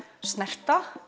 snerta